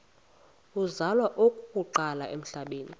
uzalwa okokuqala emhlabeni